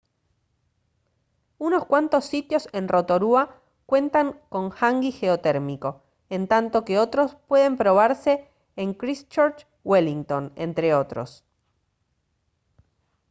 unos cuantos sitios en rotorua cuentan con hangi geotérmico en tanto que otros pueden probarse en christchurch wellington entre otros